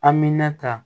Amina ka